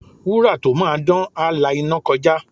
Wúrà tó máa dán, á la iná kọjá.